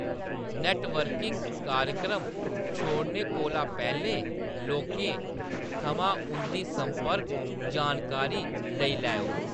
Networking कार्यक्रम छोड़ने कोला पैह्‌‌‌लें लोकें थमां उंʼदी संपर्क जानकारी लेई लैओ।